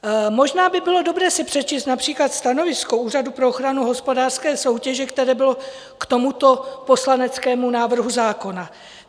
Možná by bylo dobré si přečíst například stanovisko Úřadu pro ochranu hospodářské soutěže, které bylo k tomuto poslaneckému návrhu zákona.